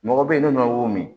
Mɔgɔ bɛ yen n'o min